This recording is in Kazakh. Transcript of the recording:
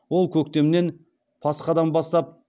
ол көктемнен пасхадан бастап